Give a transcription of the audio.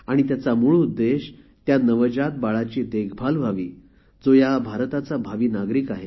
त्याचा मूळ उद्देश त्या नवजात बाळाची देखभाल व्हावी जो या भारताचा भावी नागरिक आहे